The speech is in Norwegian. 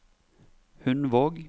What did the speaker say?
Hundvåg